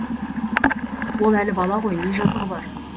ол әлі бала ғой не жазығы бар